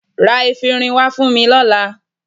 Ra efinrin wá fún mi lọ́la.